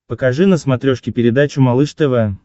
покажи на смотрешке передачу малыш тв